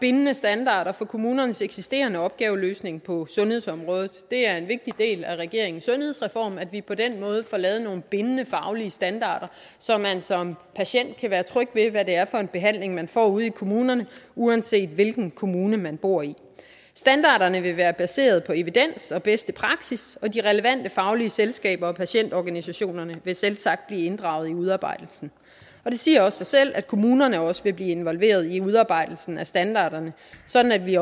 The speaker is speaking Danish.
bindende standarder for kommunernes eksisterende opgaveløsning på sundhedsområdet det er en vigtig del af regeringens sundhedsreform at vi på den måde får lavet nogle bindende faglige standarder så man som patient kan være tryg ved hvad det er for en behandling man får ude i kommunerne uanset hvilken kommune man bor i standarderne vil være baseret på evidens og bedste praksis og de relevante faglige selskaber og patientorganisationerne vil selvsagt blive inddraget i udarbejdelsen og det siger også sig selv at kommunerne også vil blive involveret i udarbejdelsen af standarderne sådan at vi